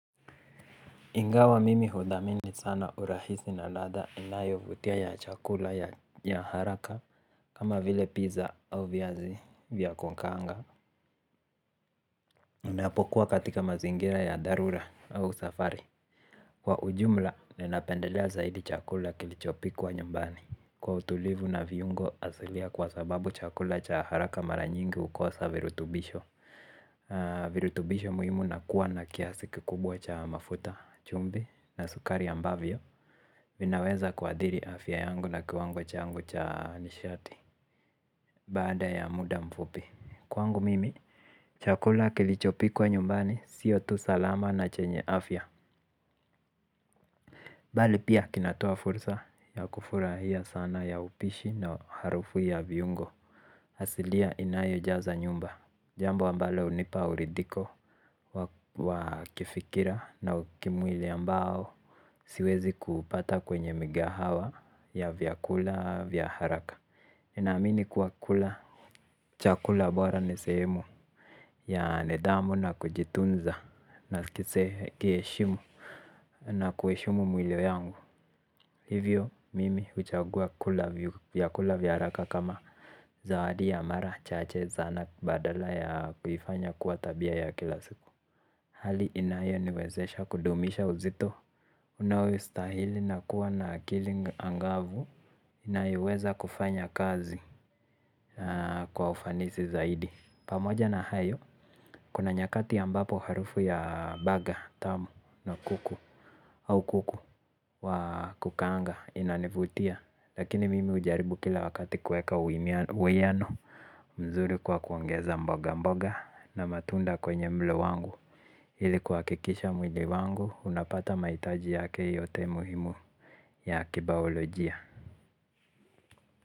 Ingawa mimi hudhamini sana urahisi na ladha inayovutia ya chakula ya haraka kama vile pizza au viazi vya kukaanga ninapokua katika mazingira ya dharura au safari. Kwa ujumla, ninapendelea zaidi chakula kilichopikwa nyumbani. Kwa utulivu na viungo asilia kwa sababu chakula cha haraka mara nyingi hukosa virutubisho. Virutubisho muhimu na kuwa na kiasi kikubwa cha mafuta chumbi na sukari ambavyo vinaweza kuadhiri afya yangu na kiwango changu cha nishati. Baada ya muda mfupi. Kwangu mimi, chakula kilichopikwa nyumbani siyo tu salama na chenye afya bali pia kinatoa fursa ya kufurahia sana ya upishi na harufu ya viungo asilia inayojaza nyumba jambo ambayo hunipa uridhiko wa wa kifikira na kimwili ambao siwezi kupata kwenye migahawa ya vyakula vya haraka ninamini kuwa kula chakula bora nesemu ya nidamu na kujitunza na kise kieshimu na kueshimu mwili yangu. Hivyo mimi uchagua kula vyakula vyaharaka kama zawadi ya mara chache zana badala ya kufanya kuwa tabia ya kila siku. Hali inayo niwezesha kudumisha uzito. Unawe ustahili na kuwa na akili angavu inayoweza kufanya kazi kwa ufanisi zaidi. Pamoja na hayo. Kuna nyakati ambapo harufu ya baga tamu na kuku au kuku wa kukaanga inanivutia. Lakini mimi ujaribu kila wakati kueka uweano mzuri kwa kuongeza mboga mboga na matunda kwenye mlo wangu. Hili kwa kikisha mwili wangu unapata maitaji ya kei yote muhimu ya kebao la jia.